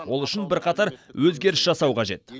ол үшін бірқатар өзгеріс жасау қажет